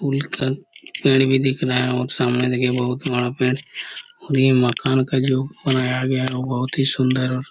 पेड़ भी दिख रहा है और सामने देखिये बहुत बड़ा पेड़ और ये मकान का जो बनाया गया है बहुत ही सुन्दर और--